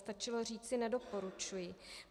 Stačilo říci nedoporučuji.